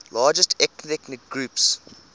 largest ethnic groups